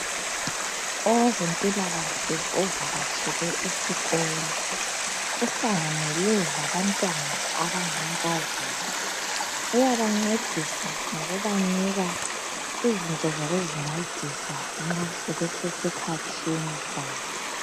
Owezempilakahle ovakatshele esikolo uhlanganele labantwana abangamankazana .Uyabancedisa ngokubanika izinto zokuzincedisa nxa sebese sikhathini sabo